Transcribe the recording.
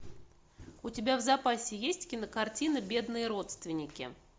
у тебя в запасе есть кинокартина бедные родственники